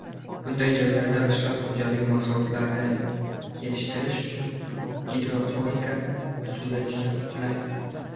Bunday joylarda qishloq xo‘jaligi mahsulotlari yetishtirish uchun gidroponika usuli juda qulay.